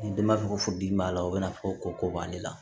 Ni denba bɛ fo di min b'a la o bɛna fɔ ko b'ale la